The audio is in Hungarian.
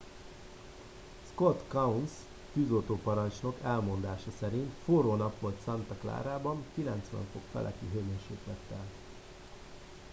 "scott kouns tűzoltóparancsnok elmondása szerint "forró nap volt santa clarában 90°f feletti hőmérsékletekkel.